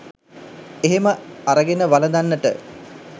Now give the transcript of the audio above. එහෙම අරගෙන වළඳන්නට